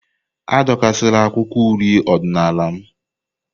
Adọkasịla akwụkwọ uri odinala m!